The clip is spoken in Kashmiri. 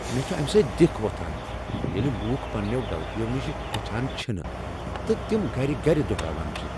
مےٚ چھ امہ سۭتۍ دِکھ وۄتھان ییلہِ لوٗکھ پنٛنٮ۪و غلطیو نش ہیٚچھان چھنہٕ تہٕ تِم گَرِ گَرِ دۄہراوان چھِ ۔